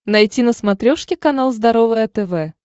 найти на смотрешке канал здоровое тв